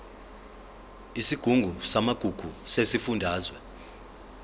isigungu samagugu sesifundazwe